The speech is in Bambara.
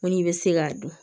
Ŋo n'i bɛ se k'a dun